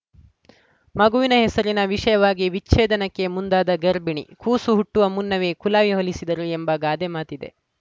ಮಗುವಿನ ಹೆಸರಿನ ವಿಷಯವಾಗಿ ವಿಚ್ಛೇದನಕ್ಕೆ ಮುಂದಾದ ಗರ್ಭಿಣಿ ಕೂಸು ಹುಟ್ಟುವ ಮುನ್ನವೇ ಕುಲಾವಿ ಹೊಲಿಸಿದರು ಎಂಬ ಗಾದೆ ಮಾತಿದೆ